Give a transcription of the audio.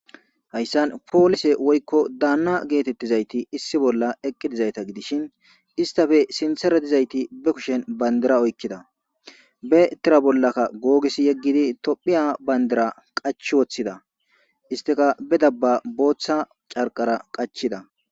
hayssan poolise woykko daanna geetettizayti issi bolla eqqi dizayta gidishin istafe sinseretizayti be kushen bandira oykkida be etira bollakka googis yeggidi tophiya bayndira qach woththida isteka be dabba booththa carqara qachida